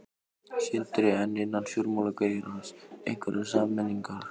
Sindri: En innan fjármálageirans, einhverjar sameiningar?